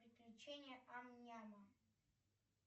приключения ам няма